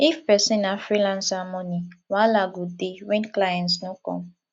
if person na freelancer money wahala go dey when client no come